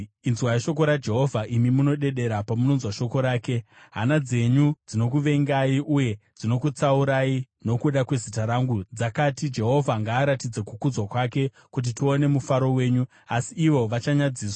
Inzwai shoko raJehovha, imi munodedera pamunonzwa shoko rake: “Hama dzenyu dzinokuvengai, uye dzinokutsaurai nokuda kwezita rangu, dzakati, ‘Jehovha ngaaratidze kukudzwa kwake, kuti tione mufaro wenyu!’ Asi ivo vachanyadziswa.